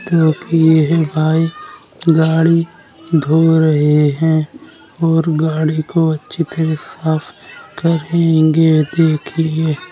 क्योंकि यही भाई गाड़ी धो रहे है और गाड़ी को अच्छी तरह साफ करेंगे देखिये।